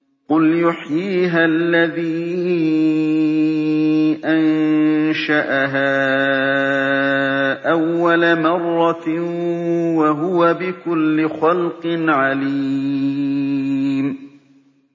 قُلْ يُحْيِيهَا الَّذِي أَنشَأَهَا أَوَّلَ مَرَّةٍ ۖ وَهُوَ بِكُلِّ خَلْقٍ عَلِيمٌ